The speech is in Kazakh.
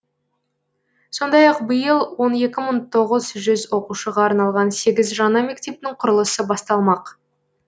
сондай ақ биыл он екі мың тоғыз жүз оқушыға арналған сегіз жаңа мектептің құрылысы басталмақ